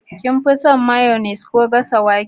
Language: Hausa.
kin fi son mayyonia ko gasa wake